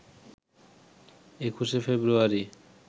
২১শে ফেব্রুয়ারি